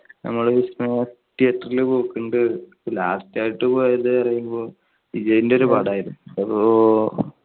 നമ്മള് theatre ൽ പോക്കുണ്ട്. last ആയിട്ട് പോയത് എന്ന് പറയുമ്പോൾ വിജയുടെ ഒരു പടം ആയിരുന്നു.